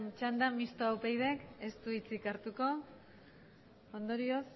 txanda mistoa upydk ez du hitzik hartuko ondorioz